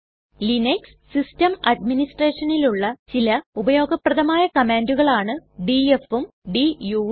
Linux system അട്മിനിസ്റ്റ്രെഷനിലുള്ള ചില ഉപയോഗപ്രദമായ കമ്മാണ്ടുകളാണ് dfഉം duഉം